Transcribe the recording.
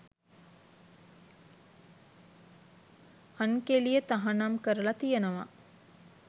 අන්කෙලිය තහනම් කරලා තියෙනවා